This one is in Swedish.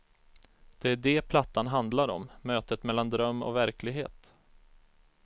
Det är det plattan handlar om, mötet mellan dröm och verklighet.